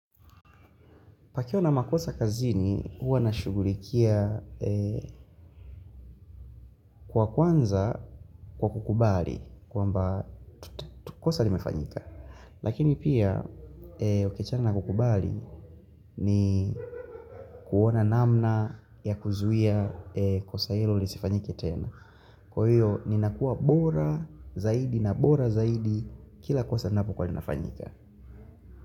Pakiwa na makosa kazini huwa nashugulikia kwa kwanza kwa kukubali kwa mba kosa limefanyika. Lakini pia okechana na kukubali ni kuona namna ya kuzuia kosa hilo lisifanyike tena. Kwa hiyo ni nakuwa bora zaidi na bora zaidi kila kosa napo kwa linafanyika.